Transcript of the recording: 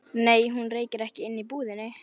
Nei, hún reykir ekki inni í búðinni.